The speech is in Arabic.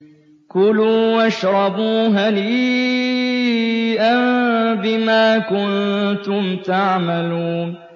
كُلُوا وَاشْرَبُوا هَنِيئًا بِمَا كُنتُمْ تَعْمَلُونَ